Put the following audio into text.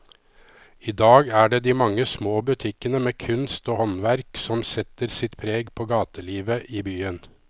I dag er det de mange små butikkene med kunst og håndverk som setter sitt preg på gatelivet i byen.